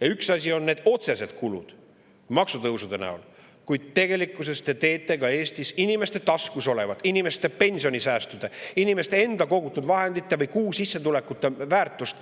Ja üks asi on need otsesed kulud maksutõusude näol, kuid tegelikkuses te teete ka Eesti inimeste taskus olevate pensionisäästude, inimeste enda kogutud vahendite või kuusissetuleku väärtust